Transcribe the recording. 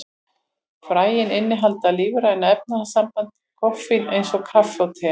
Fræin innihalda lífræna efnasambandið koffín, eins og kaffi og te.